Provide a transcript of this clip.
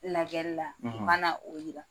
Lajɛli la u ka na o yira.